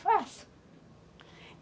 Faço.